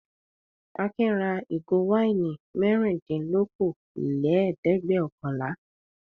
Akin ra ìgò wáìnì mẹ́rìndínlókòólẹ́ẹ̀dẹ́gbẹ̀ọ̀kànlá.